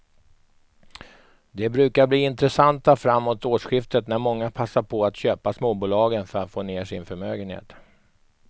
De brukar bli intressanta framåt årsskiftet när många passar på att köpa småbolagen för att få ner sin förmögenhet.